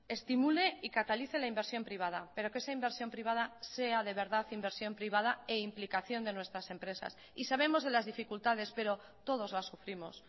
estimule y catalice la inversión privada pero que esa inversión privada sea de verdad inversión privada e implicación de nuestras empresas y sabemos de las dificultades pero todos las sufrimos